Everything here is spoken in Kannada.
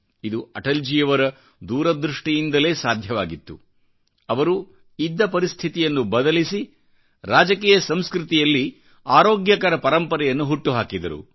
ಇದು ಅಟಲ್ ಜೀ ಯವರ ದೂರದೃಷ್ಟಿಯಿಂದಲೇ ಸಾಧ್ಯವಾಗಿತ್ತು ಇವರು ಇದ್ದ ಪರಿಸ್ಥಿತಿಯನ್ನು ಬದಲಿಸಿ ರಾಜಕೀಯ ಸಂಸ್ಕೃತಿಯಲ್ಲಿಆರೋಗ್ಯಕರ ಪರಂಪರೆಯನ್ನು ಹುಟ್ಟುಹಾಕಿದರು